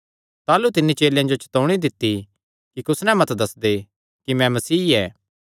ताह़लू तिन्नी चेलेयां जो चतौणी दित्ती कि कुस नैं मत ग्लांदे कि मैं मसीह ऐ